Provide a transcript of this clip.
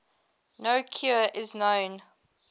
no cure is known